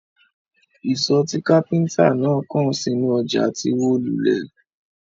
Isọ̀ tí kápẹ́ńtà náà kàn sínú ọjà ti wó lulẹ̀.